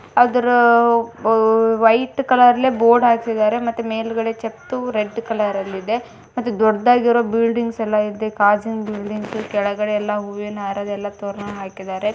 ಅದ್ರ white colour board ಹಾಕಿದ್ದಾರೆ ಮೇಲ್ಗಡೆ ಚೇತು ರೆಡ್ ಕಲರಲ್ಲಿದೆ ಮತ್ತೆ ದೊಡ್ಡ ಗೆಲ್ಲ ಇವ್ರ್ದು ಬಿಲ್ಡಿಂಗ್ಸ್ ಇದೆ ಕೆಳಗಡೆ ಎಲ್ಲ ಬಾಗಿಲಿಗೆ ಹೂವಿನ ಹಾರ ಹಾಕಿದ್ದಾರೆ.